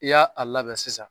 I y'a a labɛn sisan